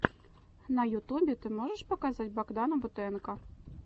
на ютубе ты можешь показать богдана бутенко